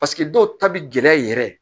Paseke dɔw ta bi gɛlɛya yɛrɛ